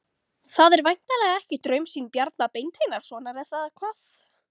Það er væntanlega ekki draumsýn Bjarna Beinteinssonar, eða hvað?